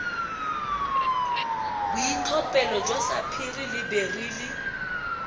boitlhophelo jwa sapphire le beryl